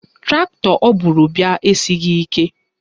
Traktọ o buru bịa esighị ike